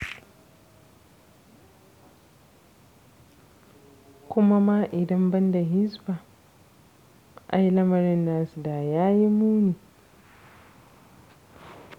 Kuma ma idan ban da Hisba, ai lamarin nasu da ya yi muni.